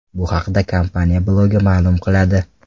Bu haqda kompaniya blogi ma’lum qiladi .